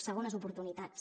segones oportunitats